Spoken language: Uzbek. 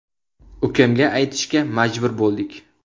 Ukamga aytishga majbur bo‘ldik.